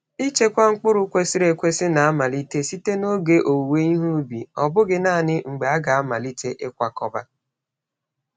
Ichekwa mkpụrụ kwesịrị ekwesị na-amalite site n'oge owuwe ihe ubi, ọ bụghị naanị mgbe a ga-amalite ịkwakọba.